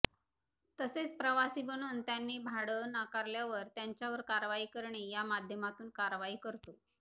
तसेच प्रवासी बनून त्यांनी भाडं नाकारल्यावर त्यांच्यावर कारवाई करणे या माध्यमातून कारवाई करतो